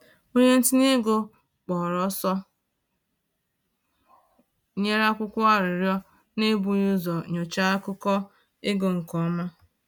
Onye ntinye ego kpọrọ ọsọ nyere akwụkwọ arịrịọ n’ebughị ụzọ nyochaa akụkọ ego nke ọma